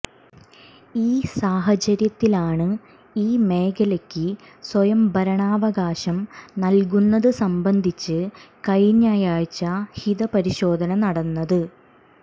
ഈ സാഹചര്യത്തിലാണ് ഈ മേഖലക്ക് സ്വയംഭരണാവകാശം നൽകുന്നതു സംബന്ധിച്ച് കഴിഞ്ഞയാഴ്ച ഹിതപരിശോധന നടന്നത്